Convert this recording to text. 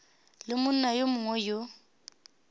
le monna yo mongwe yo